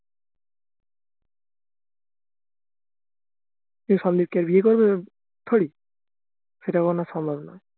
তো সন্দীপ কি আর বিয়ে করবে sorry সেটা কখনো সম্ভব নয়